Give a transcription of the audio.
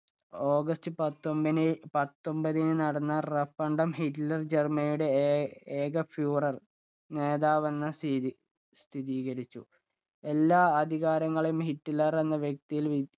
August പത്തൊമ്പിന് പത്തൊമ്പതിന് നടന്ന referandum ഹിറ്റ്ലർ ജർമനിയുടെ ഏ ഏ furore നേതാവെന്ന് സ്ഥിരീ സ്ഥിതീകരിച്ചു എല്ലാ അധികാരങ്ങളും ഹിറ്റ്ലർ എന്ന വ്യക്തിയിൽ